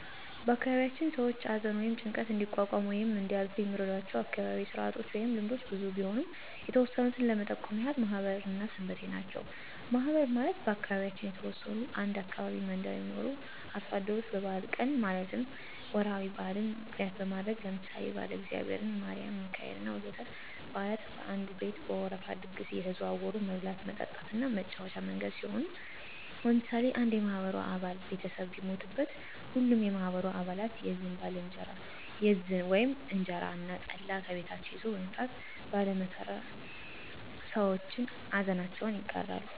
በአካባቢያችን ሰዎች አዘን ወይም ጭንቀት እንዲቋቋሙት ወይም እንዲያልፋት የሚረዷቸው አካባቢያዉ ስርአቶች ወይም ልምዶች ብዙ ቢሆኑም የተወሰኑት ለመጠቆም ያህል ማህበር እና ሰንበቴ ናቸው። ማህበር ማለት በአካባቢያችን የተወሰኑ አንድ አካባቢ መንደር የሚኖሩ አርሶ አደሮች በበአል ቀን ማለትም ወራዊ በአልን ምክንያት በማድረግ ለምሳሌ የባለእግዚአብሔር፣ የማሪም፣ የሚካኤሌ እና ወዘተ በአላት ከአንድ ቤት በወረፋ ድግስ አየተዘዋወሩ መብላት፣ መጠጣት እና መጫወቻ መንገድ ሲሆን ለምሳሌ አንድ የማህበሩ አባል ቤተሰብ ቢሞትበት ሀሉም የማህበሩ አባለት የዝን (እንጀራ እና ጠላ) ከቤታቸው ይዘዉ በመምጣት ባለ መከራ ሰዎችን አዘናቸውን ይጋራሉ።